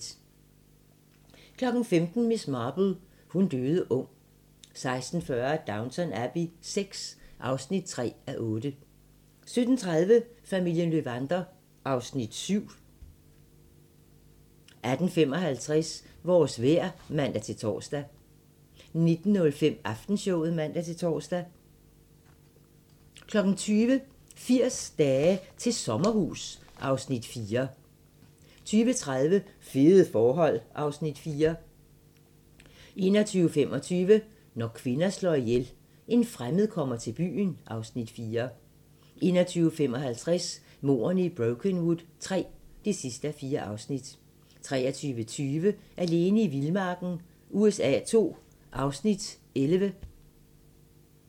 15:00: Miss Marple: Hun døde ung 16:40: Downton Abbey VI (3:8) 17:30: Familien Löwander (Afs. 7) 18:55: Vores vejr (man-tor) 19:05: Aftenshowet (man-tor) 20:00: 80 dage til sommerhus (Afs. 4) 20:30: Fede forhold (Afs. 4) 21:25: Når kvinder slår ihjel - En fremmed kommer til byen (Afs. 4) 21:55: Mordene i Brokenwood III (4:4) 23:20: Alene i vildmarken USA II (Afs. 11)